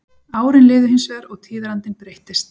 Árin liðu hins vegar og tíðarandinn breyttist.